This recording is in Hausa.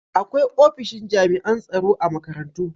Akwai ofishin jami'an tsaro a makarantu.